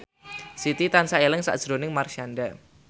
Siti tansah eling sakjroning Marshanda